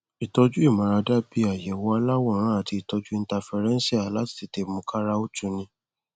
ìtọjú ìmáradá bí i àyẹwò aláwòrán àti ìtọjú ińtafirẹńṣíà láti tètè mú káara ó tuni